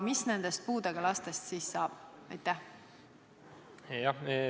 Mis nendest puudega lastest siis saab?